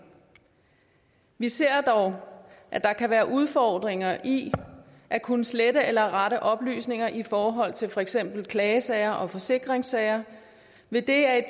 vi ser dog at der kan være udfordringer i at kunne slette eller rette oplysninger i forhold til for eksempel klagesager og forsikringssager idet et